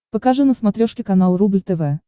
покажи на смотрешке канал рубль тв